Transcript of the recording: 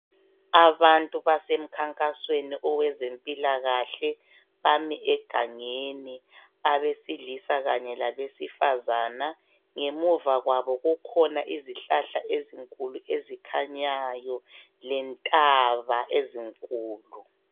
Abantu basemkhankasweni owezempilakahle. Bami egangeni abesilisa kanye labesifazana. Ngemuva kwabo kukhona izihlahla ezinkulu ezikhanyayo lentaba ezinkulu.